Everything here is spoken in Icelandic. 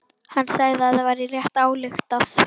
Hann sagði að það væri rétt ályktað.